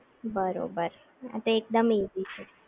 બરોબર આત એકદમ ઈઝી છે